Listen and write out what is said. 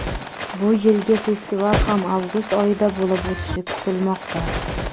Bu yilgi festival ham avgust oyida bo‘lib o‘tishi kutilmoqda.